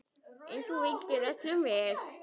En þú vildir öllum vel.